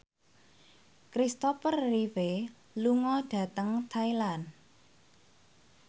Kristopher Reeve lunga dhateng Thailand